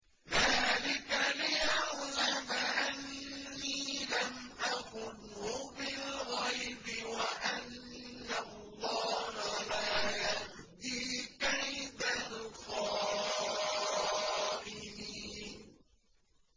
ذَٰلِكَ لِيَعْلَمَ أَنِّي لَمْ أَخُنْهُ بِالْغَيْبِ وَأَنَّ اللَّهَ لَا يَهْدِي كَيْدَ الْخَائِنِينَ